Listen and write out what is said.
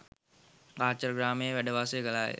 කාචරග්‍රාමයේ වැඩ වාසය කළා ය.